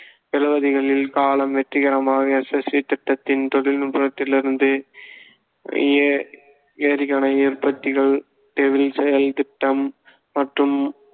எழுபதுகளில் கலாம் வெற்றிகரமாக SSV திட்டத்தின் தொழில்நுட்பத்திலிருந்து எ~ எறிகணைத் உற்பத்திகள் டெவில் செயல் திட்டம் மற்றும்